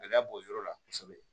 Gɛlɛya b'o yɔrɔ la kosɛbɛ